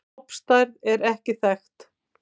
Stofnstærð er ekki þekkt.